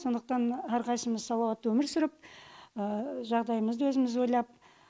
сондықтан әрқайсымыз салауатты өмір сүріп жағдайымызды өзіміз ойлап